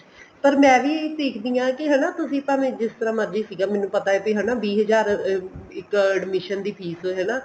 ਪਰ ਮੈਂ ਵੀ ਦੇਖਦੀ ਹਾਂ ਹਨਾ ਤੁਸੀਂ ਭਾਵੇ ਜਿਵੇਂ ਮਰਜ਼ੀ ਸੀਗੇ ਮੈਨੂੰ ਪਤਾ ਸੀ ਹਨਾ ਵੀਹ ਹਜ਼ਾਰ ਇੱਕ admission ਦੀ fees ਹਨਾ